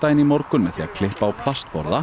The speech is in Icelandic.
í morgun með því að klippa á